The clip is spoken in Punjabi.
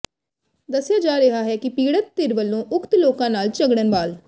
ਦੱਸਿਆ ਜਾ ਰਿਹਾ ਹੈ ਕਿ ਪੀੜ੍ਹਤ ਧਿਰ ਵੱਲੋਂ ਉਕਤ ਲੋਕਾਂ ਨਾਲ ਝਗੜਨ ਵਾਲ